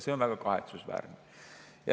See on väga kahetsusväärne.